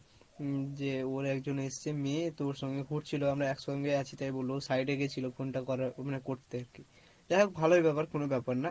উম যে ওর একজন এসছে মেয়ে তোর সঙ্গে ঘুরছিলো আমরা একসঙ্গে আছি তাই বললো, side এ গেছিলো phone টা করার মানে করতে আর কি, যাই হোক ভালোই ব্যাপার কোনো ব্যাপার না,